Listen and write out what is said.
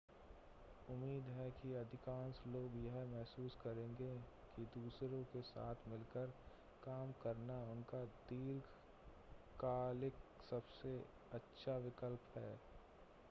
उम्मीद है कि अधिकांश लोग यह महसूस करेंगे कि दूसरों के साथ मिलकर काम करना उनका दीर्घकालिक सबसे अच्छा विकल्प है